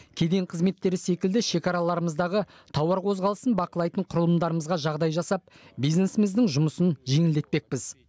кеден қызметтері секілді шекараларымыздағы тауар қозғалысын бақылайтын құрылымдарымызға жағдай жасап бизнесіміздің жұмысын жеңілдетпекпіз